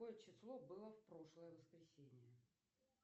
какое число было в прошлое воскресенье